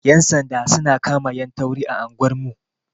Yan sanda su na kama 'yan tauri a anguwar mu.